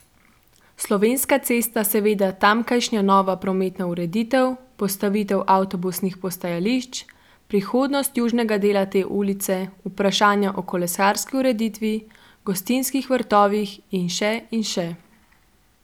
Slovenska cesta, seveda, tamkajšnja nova prometna ureditev, postavitev avtobusnih postajališč, prihodnost južnega dela te ulice, vprašanja o kolesarski ureditvi, gostinskih vrtovih in še in še.